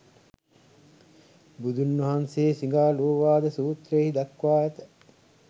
බුදුන් වහන්සේ සිඟාලෝවාද සූත්‍රයෙහි දක්වා ඇත.